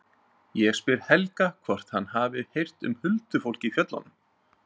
Ég spyr Helga hvort hann hafi heyrt um huldufólk í fjöllunum.